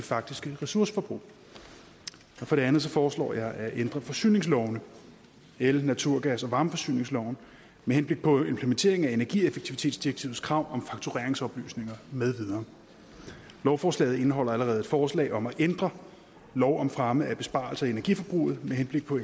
faktiske ressourceforbrug for det andet foreslår jeg at ændre forsyningslovene el naturgas og varmeforsyningsloven med henblik på en implementering af energieffektivitetsdirektivets krav om faktureringsoplysninger med videre lovforslaget indeholder allerede et forslag om at ændre lov om fremme af besparelser i energiforbruget med henblik på